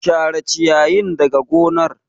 Share ciyayin daga gonar.